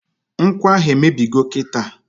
Nkwụ ahụ emebigo kịta!